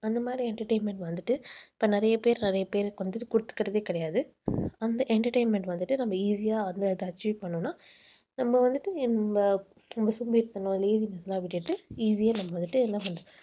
அந்த மாதிரி entertainment வந்துட்டு இப்ப நிறைய பேர் நிறைய பேருக்கு வந்துட்டு கொடுத்துக்கிறதே கிடையாது. அந்த entertainment வந்துட்டு நம்ம easy யா வந்து அதை achieve பண்ணினோம்னா நம்ம வந்துட்டு நம்ம பண்ணுவோம் easy ஆ நம்ம வந்துட்டு என்ன பண்றது